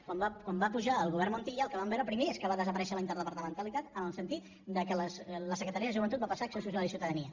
quan va pujar el govern montilla el que vam veure primer és que va desaparèixer la interdepartamentalitat en el sentit que la secretaria de joventut va passar a acció social i ciutadania